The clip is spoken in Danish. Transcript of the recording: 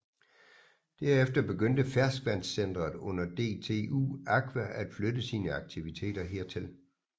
Derefter begyndte Ferskvandscentret under DTU Aqua at flytte sine aktiviteter her til